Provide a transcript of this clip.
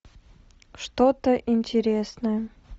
что то интересное